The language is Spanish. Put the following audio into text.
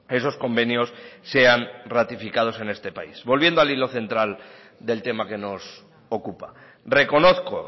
esos convenios sean ratificados en este país volviendo al hilo central del tema que nos ocupa reconozco